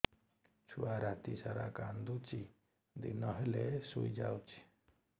ଛୁଆ ରାତି ସାରା କାନ୍ଦୁଚି ଦିନ ହେଲେ ଶୁଇଯାଉଛି